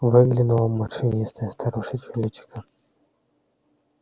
выглянуло морщинистое старушечье личико